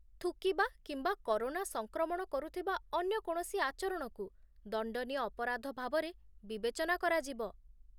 ଥୁକିବା କିମ୍ବା କରୋନା ସଂକ୍ରମଣ କରୁଥିବା ଅନ୍ୟ କୌଣସି ଆଚରଣକୁ ଦଣ୍ଡନୀୟ ଅପରାଧ ଭାବରେ ବିବେଚନା କରାଯିବ